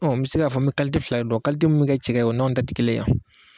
n mi se k'a fɔ, n mi fila de don min mi kɛ cɛkɛ ye, o n'anw ta ti kelen yan